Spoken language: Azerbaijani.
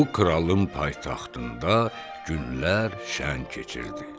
Bu kralın paytaxtında günlər şən keçirdi.